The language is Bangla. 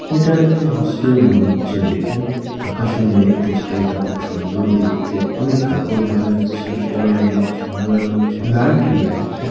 এটা একটি হোস্টেল মনে হচ্ছে দেখেআকাশে ও মেঘ হোস্টেল টা খুব সুন্দর দেখতে অনেক কাপড় দেখা যাচ্ছে হোস্টেল এর অনেক জানালা রয়েছে লাইট ও রয়েছে।